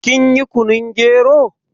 Kin yi kunun gero?